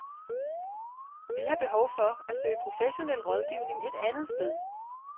Vi har behov for at søge professionel rådgivning et andet sted.